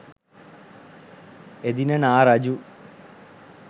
එදින නා රජු